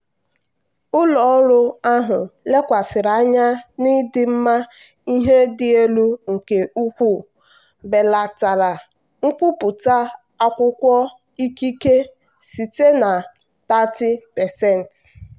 ụlọ ọrụ ahụ lekwasịrị anya n'ịdị mma ihe dị elu nke ukwuu belatara nkwupụta akwụkwọ ikike site na 30%.